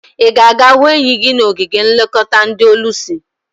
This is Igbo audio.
I ga aga hu enyi gi nwoke n'ogige nlekota ndi olusi?